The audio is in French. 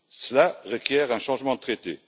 Cela requiert un changement de traité.